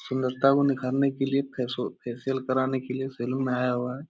सुंदरता को निखारने के लिए फेस-फेशियल कराने के लिए सैलून आया हुआ है।